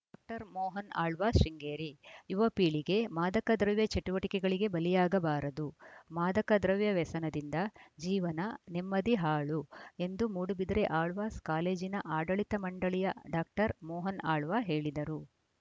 doctor Mohan Alva Sringeri ಯುವಪೀಳಿಗೆ ಮಾದಕ ದ್ರವ್ಯ ಚಟುವಟಿಕೆಗಳಿಗೆ ಬಲಿಯಾಗಬಾರದು ಮಾದಕ ದ್ರವ್ಯ ವ್ಯಸನದಿಂದ ಜೀವನ ನೆಮ್ಮದಿ ಹಾಳು ಎಂದು ಮೂಡಬಿದಿರೆ ಆಳ್ವಾಸ್‌ ಕಾಲೇಜಿನ ಆಡಳಿತ ಮಂಡಳಿಯ ಡಾಕ್ಟರ್ ಮೋಹನ್‌ ಆಳ್ವ ಹೇಳಿದರು